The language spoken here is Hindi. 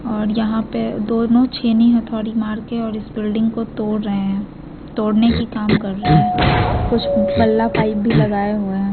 और यहाँ पे दोनों छेनी-हथोड़ी मार के और इस बिल्डिंग को तोड़ रहे है तोड़ने की काम कर रहे हैं कुछ बल्ला-पाइप भी लगाये हुए हैं।